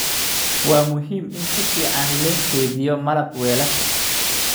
Waa muhiim in si fiican loo kaydiyo malab weelasha